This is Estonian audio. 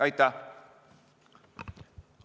Aitäh!